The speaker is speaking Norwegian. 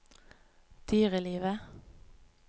dyrelivet